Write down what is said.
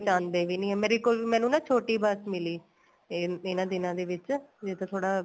ਜਾਂਦੇ ਵੀ ਨੀਂ ਮੈਨੂੰ ਨਾ ਛੋਟੀ ਬੱਸ ਮਿਲੀ ਤੇ ਇੰਨਾ ਦਿਨਾ ਦੇ ਵਿੱਚ ਜੇ ਤਾਂ ਥੋੜਾ